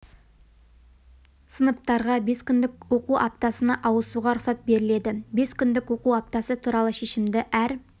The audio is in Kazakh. сыныптарға бес күндік оқу аптасына ауысуға рұқсат беріледі бес күндік оқу аптасы туралы шешімді әр